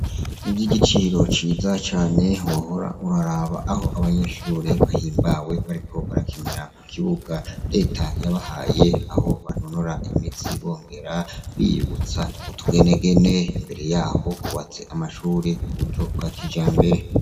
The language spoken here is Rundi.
Ivyigiciro ciza cane wohora uraraba aho abanyeshure bahimbawe bariko barakinira kukibuga reta yabahaye aho banonora imitsi bongera biyibutsa utugenegene imbere yaho hubatse amashure kuburyo bwakijambere